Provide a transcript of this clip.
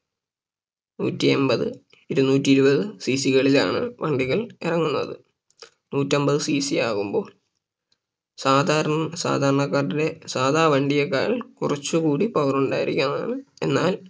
നൂറ്റി എമ്പത് ഇരുന്നൂറ്റി ഇരുപത് CC കളിലാണ് വണ്ടികൾ ഇറങ്ങുന്നത് നൂറ്റി അമ്പത് CC ആകുമ്പോ സാധാര സാധാരണകാട്ടിലും സാധാ വണ്ടിയേക്കാൾ കുറച്ചു കൂടി Power ഉണ്ടായിരിക്കുന്നതാണ് എന്നാൽ